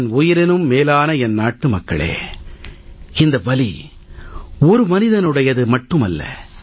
என் உயிரினும் மேலான என் நாட்டுமக்களே இந்த வலி ஒரு மனிதனுடையது மட்டுமல்ல